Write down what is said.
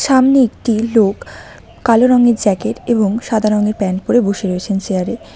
সামনে একটি লোক কালো রঙের জ্যাকেট এবং সাদা রঙের প্যান্ট পরে বসে রয়েছেন চেয়ার -এ।